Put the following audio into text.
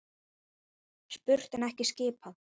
Spurt en ekki skipað.